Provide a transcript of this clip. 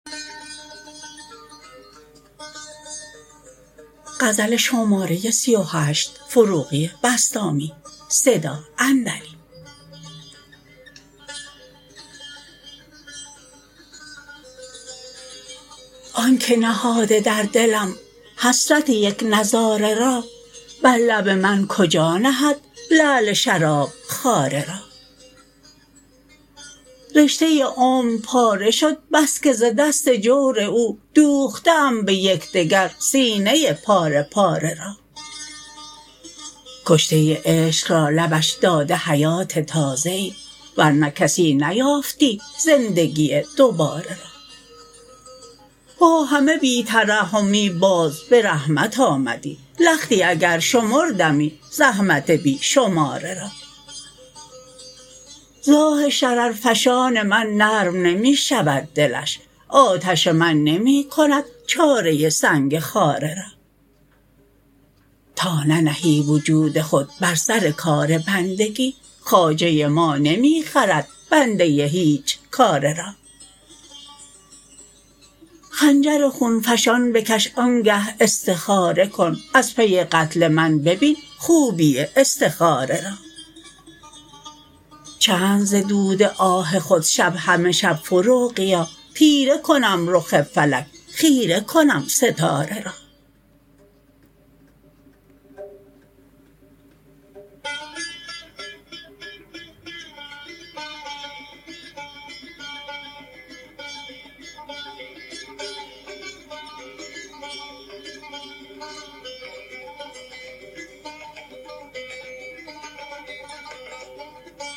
آن که نهاده در دلم حسرت یک نظاره را بر لب من کجا نهد لعل شراب خواره را رشته عمر پاره شد بس که ز دست جور او دوخته ام به یکدگر سینه پاره پاره را کشته عشق را لبش داده حیات تازه ای ورنه کسی نیافتی زندگی دوباره را با همه بی ترحمی باز به رحمت آمدی لختی اگر شمردمی زحمت بی شماره را ز آه شررفشان من نرم نمی شود دلش آتش من نمی کند چاره سنگ خاره را تا ننهی وجود خود بر سر کار بندگی خواجه ما نمی خرد بنده هیچ کاره را خنجر خون فشان بکش آنگه استخاره کن از پی قتل من ببین خوبی استخاره را چند ز دود آه خود شب همه شب فروغیا تیره کنم رخ فلک خیر کنم ستاره را